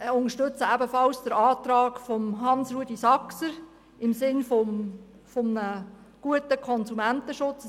Und wir unterstützen ebenfalls den Antrag von HansRudolf Saxer im Sinne eines guten Konsumentenschutzes.